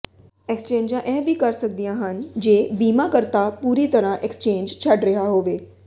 ਐਕਸਚੇਂਜਾਂ ਇਹ ਵੀ ਕਰ ਸਕਦੀਆਂ ਹਨ ਜੇ ਇਕ ਬੀਮਾਕਰਤਾ ਪੂਰੀ ਤਰ੍ਹਾਂ ਐਕਸਚੇਂਜ ਛੱਡ ਰਿਹਾ ਹੋਵੇ